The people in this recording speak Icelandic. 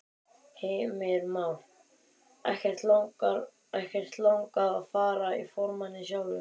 Heimir Már: Ekkert langað að fara í formanninn sjálf?